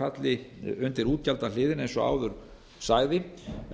falli undir útgjaldahliðina eins og áður sagði